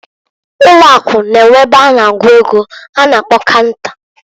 Ụlọ Akụ N'enwe ebe a na-agụ ego a na-akpo canta.